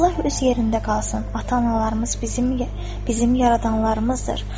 Allah öz yerində qalsın, ata-analarımız bizim yaradanlarımızdır.